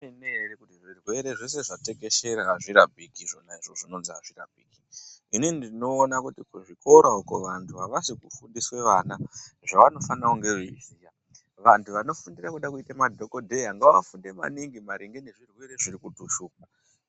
Ndezvemene ere kuti zvirerwe zveshe zvatekeshera azvirapiki zvona izvozvo zvinonzi azvirapiki inini ndinoona kuti kuzvikora uko vandu avasi kufundise vana zvavanofana kunge veiziya vandu vano fundira kuda kuite madhokodheya ngavafunde maningi maringe nezvirwere zvirikutishupa